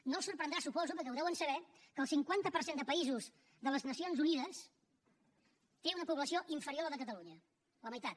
no els sorprendrà suposo perquè ho deuen saber que el cinquanta per cent de països de les nacions unides té una població inferior a la de catalunya la meitat